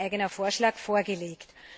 Es wurde ein eigener Vorschlag vorgelegt.